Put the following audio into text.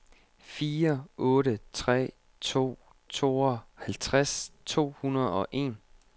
fire otte tre to tooghalvtreds to hundrede og en